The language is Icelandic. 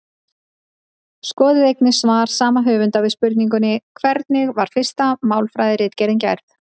Skoðið einnig svar sama höfundar við spurningunni Hvernig var fyrsta málfræðiritgerðin?